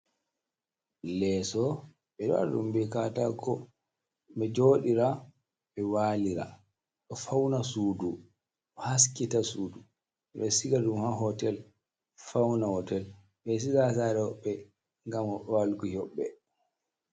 Leso ɓe ɗo waɗa ɗum be katako, ɓe joɗira, ɓe walira, ɗo fauna suudu, o haskita suudu, ɓe siga ɗum ha hotel fauna hotel ɓeɗo siga ha saare hoɓɓe ngam walki hoɓɓe.